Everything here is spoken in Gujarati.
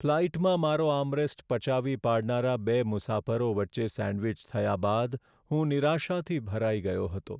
ફ્લાઈટમાં મારો આર્મરેસ્ટ પચાવી પાડનારા બે મુસાફરો વચ્ચે સેન્ડવિચ થયા બાદ હું નિરાશાથી ભરાઈ ગયો હતો.